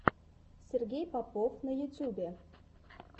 сергей попов на ютьюбе